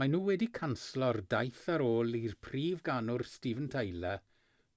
maen nhw wedi canslo'r daith ar ôl i'r prif ganwr steven tyler